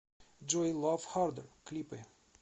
джой лав хардер клипы